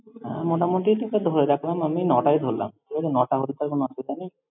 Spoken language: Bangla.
হ্যাঁ, মোটামুটি তোকে ধরে রাখলাম আমি ন'টাই ধরলাম। ঠিক আছে, ন'টা হলে তো আর কোনো অসুবিধা নেই।